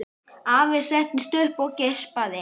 Afi settist upp og geispaði.